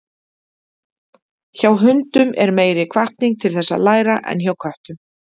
Hjá hundum er meiri hvatning til þess að læra en hjá köttum.